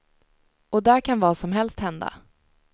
Och där kan vad som helst hända.